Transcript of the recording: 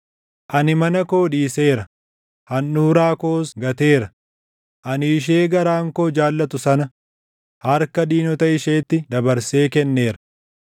“Ani mana koo dhiiseera; handhuuraa koos gateera; ani ishee garaan koo jaallatu sana harka diinota isheetti dabarsee kenneera.